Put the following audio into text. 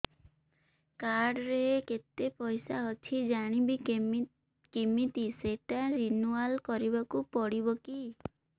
card ରେ କେତେ ପଇସା ଅଛି ଜାଣିବି କିମିତି ସେଟା ରିନୁଆଲ କରିବାକୁ ପଡ଼ିବ କି